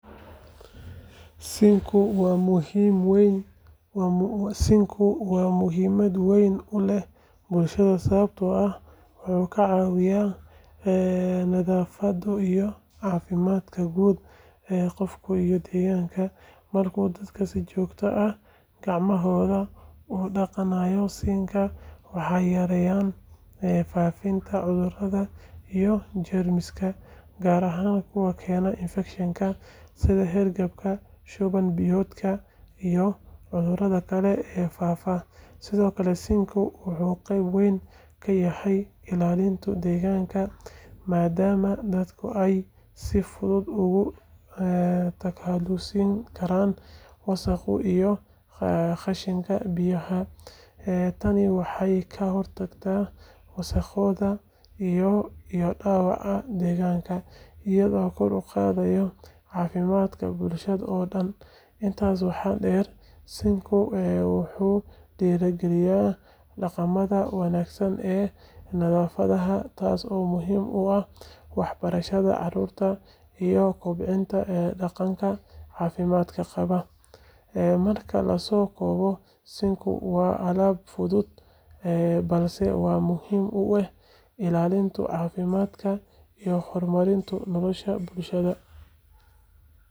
Sinkigu waa muhiimad weyn u leh bulshada sababtoo ah wuxuu ka caawiyaa nadaafadda iyo caafimaadka guud ee qofka iyo deegaanka. Marka dadku si joogto ah gacmahooda u dhaqdaan sinkiga, waxay yareeyaan faafitaanka cudurrada iyo jeermiska, gaar ahaan kuwa keena infekshannada sida hargabka, shuban biyoodka, iyo cudurrada kale ee faafa. Sidoo kale, sinkigu wuxuu qayb weyn ka yahay ilaalinta deegaanka, maadaama dadka ay si fudud uga takhalusi karaan wasakhda iyo qashinka biyaha. Tani waxay ka hortagtaa wasakhowga iyo dhaawaca deegaanka, iyadoo kor u qaadaysa caafimaadka bulshada oo dhan. Intaas waxaa dheer, sinkigu wuxuu dhiirrigeliyaa dhaqamada wanaagsan ee nadaafadda, taas oo muhiim u ah waxbarashada caruurta iyo kobcinta dhaqanka caafimaad qaba. Marka la soo koobo, sinkigu waa aalad fudud balse aad muhiim ugu ah ilaalinta caafimaadka iyo horumarinta nolosha bulshada.